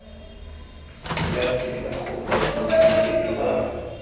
la tsela gongwe motlhankedi wa